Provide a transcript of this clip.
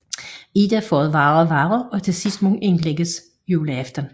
Ida får det værre og være og må til sidst indlægges juleaften